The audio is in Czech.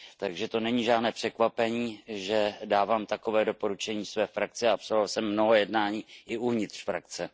Takže to není žádné překvapení, že dávám takové doporučení své frakci, a absolvoval jsem mnoho jednání i uvnitř frakce.